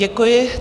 Děkuji.